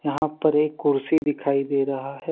यहां पर एक कुर्सी दिखाई दे रहा है।